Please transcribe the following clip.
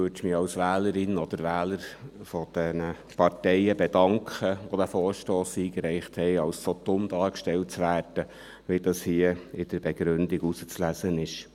Als Wählerin oder Wähler dieser Parteien, die diesen Vorstoss eingereicht haben, würde ich mich dafür bedanken, als so dumm dargestellt zu werden, wie dies hier aus der Begründung zu lesen ist.